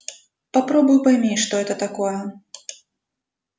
попробуй пойми что это такое